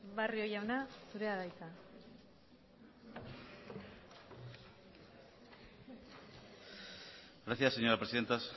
barrio jauna zurea da hitza gracias señora presidenta